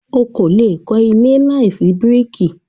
O o lè kọ́ ilé láìsí bíríkì.